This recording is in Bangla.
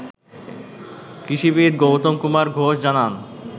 কৃষিবিদ গৌতম কুমার ঘোষ জানান